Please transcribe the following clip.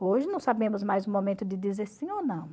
Hoje não sabemos mais o momento de dizer sim ou não.